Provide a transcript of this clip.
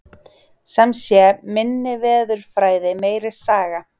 Sem sé, minni veðurfræði, meiri saga.